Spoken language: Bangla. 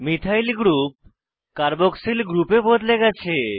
মিথাইল গ্রুপ কার্বক্সিল গ্রুপে বদলে গেছে